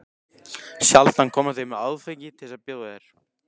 Sjaldan koma þeir með áfengi til að bjóða þér.